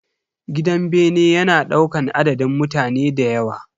Gidan bene yana daukan adadin mutane dayawa.